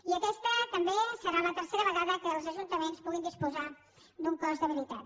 i aquesta també serà la tercera vegada que els ajuntaments puguin disposar d’un cos d’habilitació